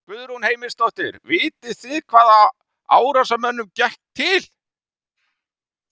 Guðrún Heimisdóttir: Vitið þið hvaða árásarmönnunum gekk til?